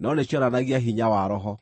no nĩcionanagia hinya wa Roho,